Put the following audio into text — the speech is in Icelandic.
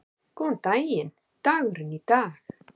Góðan daginn dagurinn í dag